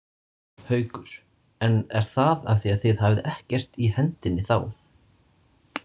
Haukur: En er það af því að þið hafið ekkert í hendinni þá?